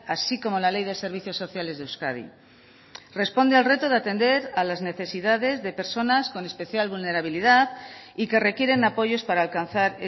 así como la ley de servicios sociales de euskadi responde al reto de atender a las necesidades de personas con especial vulnerabilidad y que requieren apoyos para alcanzar